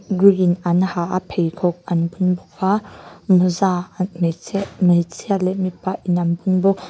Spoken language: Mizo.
an ha a pheikhawk an bun bawk a mawza an hmeichhe hmeichhia leh mipa in an bun bawk.